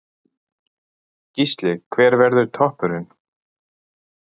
Gísli: Hver verður toppurinn?